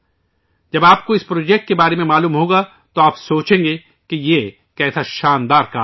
آپ جب اِس پروجیکٹ کے بارے میں جانیں گے تو سوچیں گے کہ یہ کیا کمال کام ہے